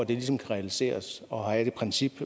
ligesom kan realiseres og have det princip